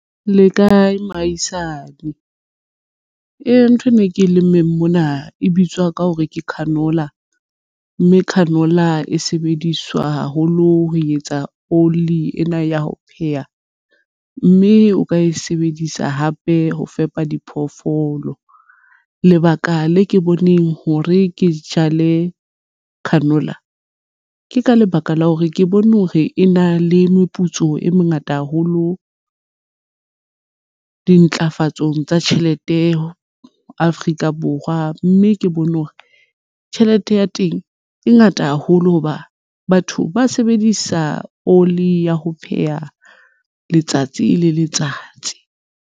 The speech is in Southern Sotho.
Le kae moahisane? Ee, thwena e ke lemmeng mona e bitswa ka hore ke canola, mme canola e sebediswa haholo ho etsa oli ena ya ho pheha, mme o ka e sebedisa hape ho fepa diphoofolo. Lebaka le ke boneng hore ke jale canola ke ka lebaka la hore ke bone hore e na le meputso e mengata haholo dintlafatso tsa tjhelete Afrika Borwa, mme ke bone hore tjhelete ya teng e ngata haholo hoba batho ba sebedisa oli ya ho pheha letsatsi le letsatsi.